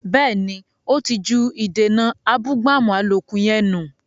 Bẹ́ẹ̀ni, ó ti ju “ìdènà abúgbàmù” àlòkù yẹn nù